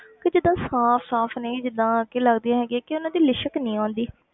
ਕਿ ਜਿੱਦਾਂ ਸਾਫ਼ ਸਾਫ਼ ਨਹੀਂ ਜਿੱਦਾਂ ਕਿ ਲੱਗਦੀਆਂ ਹੈਗੀਆਂ ਕਿ ਉਹਨਾਂ ਦੀ ਲਿਸ਼ਕ ਨੀ ਆਉਂਦੀ।